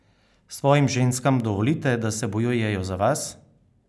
Svojim ženskam dovolite, da se bojujejo za vas?